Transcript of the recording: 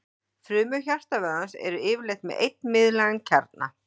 frumur hjartavöðvans eru yfirleitt með einn miðlægan kjarna